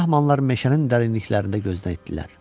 Brahmanlar meşənin dərinliklərində gözdən itdiler.